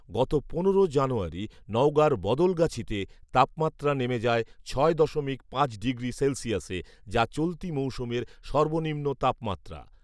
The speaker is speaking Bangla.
গত পনেরো জানুয়ারি নওগাঁর বদলগাছীতে তাপমাত্রা নেমে যায় ছয় দশমিক পাঁচ ডিগ্রি সেলসিয়াসে, যা চলতি মৌসুমের সর্বনিম্ন তাপমাত্রা